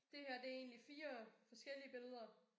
Det her det egentlig 4 forskellige billeder